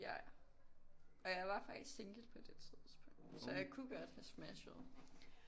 Ja ja og jeg var faktisk single på det tidspunkt så jeg kunne godt have smashet